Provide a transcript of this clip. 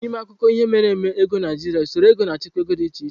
N'ime akụkọ ihe mere eme ego Naijiria usoro ego na achịkwaa ego di iche iche.